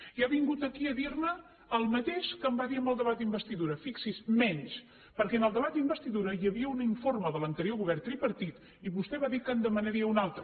i ha vingut aquí a dir me el mateix que em va dir en el debat d’investidura fixi’s menys perquè en el debat d’investidura hi havia un informe de l’anterior govern tripartit i vostè va dir que en demanaria un altre